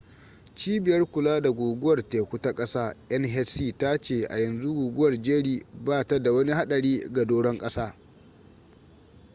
cibiyar kula da guguwar teku ta kasa nhc ta ce a yanzu guguwar jerry ba ta da wani hadari ga doron kasa